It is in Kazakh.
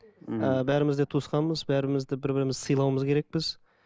мхм і бәріміз де туысқанбыз бәрімізді бір бірімізді сыйлауымыз керекпіз